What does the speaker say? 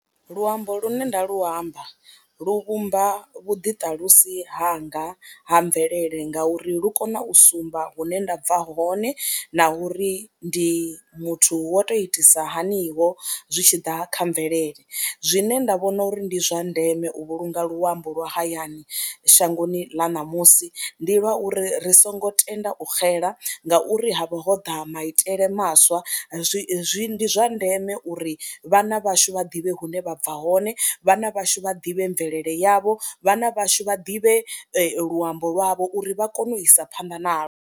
Luambo lune nda lu amba lu vhumba vhuḓiṱalusi hanga ha mvelele ngauri lu kone u sumba hune nda bva hone na uri ndi muthu wa toU itisa hanio zwi tshi ḓa kha mvelele, zwine nda vhona uri ndi zwa ndeme u vhulunga luambo lwa hayani shangoni ḽa ṋamusi ndi lwa uri ri songo tenda u xela ngauri ha vho ho ḓa maitele maswa, zwi ndi zwa ndeme uri vhana vhashu vha ḓivhe hune vha bva hone, vhana vhashu vha ḓivhe mvelele yavho, vhana vhashu vha ḓivhe luambo lwavho uri vha kone u isa phanḓa nalo.